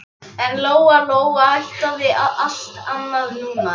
Hann hafði lofað að sýna henni tilþrif á heimsmælikvarða!